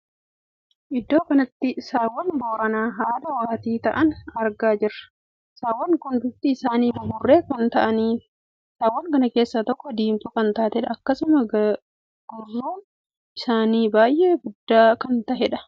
Iddoo kanatti saawwan booranaa haadha waatii taa'aan argaa jirra. saawwan kun bifti isaanii buburree kan taa'aniidha. saawwan kana keessaa tokko diimtuu kan taateedha. akkasumas gurruun isaanii baay'ee guddaa kan taheedha. sawwan kana namaatu eegaa jira.